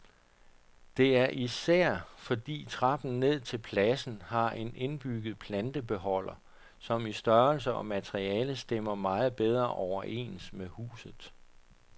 Det er især, fordi trappen ned til pladsen har en indbygget plantebeholder, som i størrelse og materiale stemmer meget bedre overens med huset.